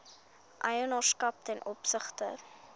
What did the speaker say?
eienaarskap ten opsigte